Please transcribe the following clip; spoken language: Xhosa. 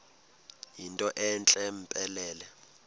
yinto entle mpelele